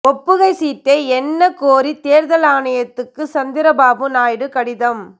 ஒப்புகைச் சீட்டை எண்ண கோரி தேர்தல் ஆணையத்துக்கு சந்திரபாபு நாயுடு கடிதம்